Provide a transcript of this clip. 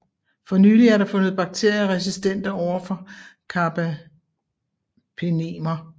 For nylig er der fundet bakterier resistente overfor carbapenemer